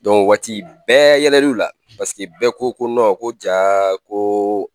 o waati bɛɛ yɛlɛ l'u la paseke bɛɛ ko ko ko jaa ko